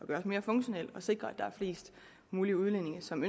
gøres mere funktionel og sikrer at der er flest mulige udlændinge som